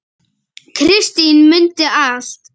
Kristín mundi allt.